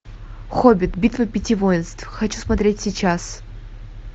хоббит битва пяти воинств хочу смотреть сейчас